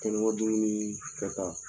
dumuni kɛta.